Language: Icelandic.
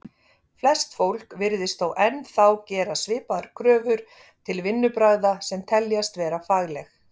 Flest fólk virðist þó enn þá gera svipaðar kröfur til vinnubragða sem teljast vera fagleg.